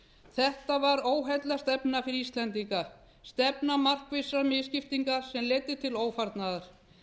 þetta var óheillastefna fyrir íslendinga stefna markvissrar misskiptingar sem leiddi til ófarnaðar